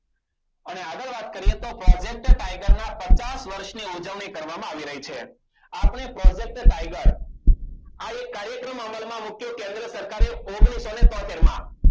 અને આગળ વાત કરીએ તો project tiger ના પચાસ વર્ષની ઉજવણી કરવામાં આવી રહી છે આપણે project tiger આ એક કાર્યક્રમ અમલમાં મૂકીએ કેન્દ્ર સરકારે ઓગણીસો ને તોતેર માં